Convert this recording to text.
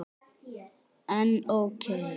En ókei.